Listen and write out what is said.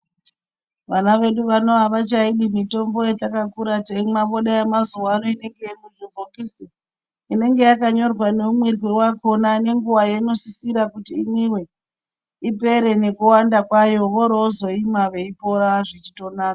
Vana vedu vano avachaidi mitombo yatakakura teimwa, voda yemazuva ano inenge irimubhokisi. Inenge yakanyorwa neumwirwe wakhona nenguwa yainosirira kuti imwiwe, ipere nekuwanda kwayo vorozoimwa veipora zvichitonaka.